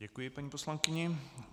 Děkuji paní poslankyni.